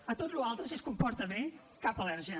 a tota la resta si es comporta bé cap al·lèrgia